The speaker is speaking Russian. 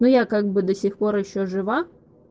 ну я как бы до сих пор ещё жива